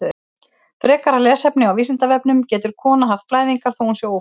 Frekara lesefni á Vísindavefnum: Getur kona haft blæðingar þó að hún sé ófrísk?